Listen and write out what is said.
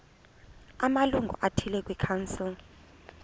amalungu athile kwikhansile